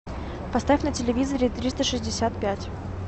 поставь на телевизоре триста шестьдесят пять